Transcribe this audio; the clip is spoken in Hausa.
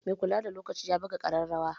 Mai kula da lokaci ya buga ƙararrawa